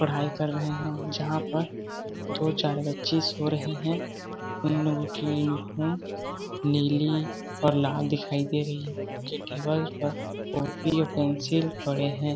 पढ़ाई कर रहे हैं जहाँ पर दो चार बच्चे सो रहे हैं उन लोगों की यूनिफॉर्म नीली और लाल दिखाई दे रही है के टेबल पर कॉपी और पेंसिल पड़े हैं।